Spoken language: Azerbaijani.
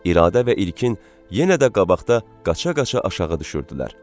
İradə və İlkin yenə də qabaqda qaça-qaça aşağı düşürdülər.